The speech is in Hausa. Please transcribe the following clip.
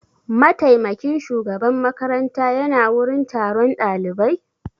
Mataimakin shugaban makaranta ya na wurin taron ɗalibai?